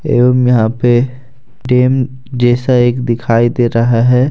एवं यहां पे डैम जैसा एक दिखाई दे रहा है।